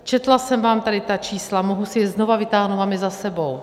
Četla jsem vám tady ta čísla, mohu si je znovu vytáhnout, mám je za sebou.